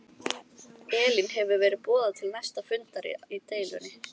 Elín hefur verið boðað til næsta fundar í deilunni?